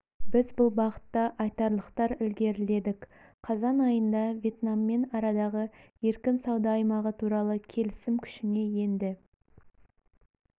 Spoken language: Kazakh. біз бұл бағытта айтарлықтар ілгеріледік қазан айында вьетнаммен арадағы еркін сауда аймағы туралы келісім күшіне енді